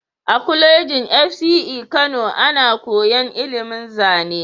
A kolejin FCE Kano ana koyan ilimin zane